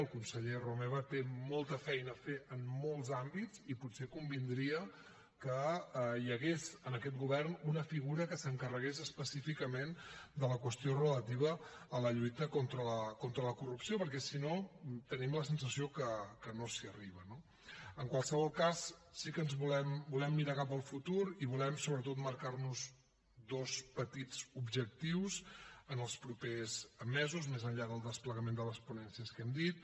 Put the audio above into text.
el conseller romeva té molta feina a fer en molts àmbits i potser convindria que hi hagués en aquest govern una figura que s’encarregués específicament de la qüestió relativa a la lluita contra la corrupció perquè si no tenim la sensació que no s’hi arriba no en qualsevol cas sí que volem mirar cap al futur i volem sobretot marcar nos dos petits objectius en els propers mesos més enllà del desplegament de les ponències que hem dit